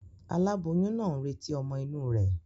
Aláboyún naa n retí ọ́mọ́ inú rè